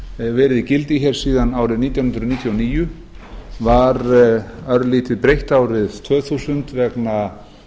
verið í gildi hér síðan árið nítján hundruð níutíu og níu var örlítið breytt árið tvö þúsund vegna